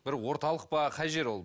бір орталық па қай жер ол